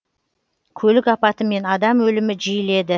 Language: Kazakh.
көлік апаты мен адам өлімі жиіледі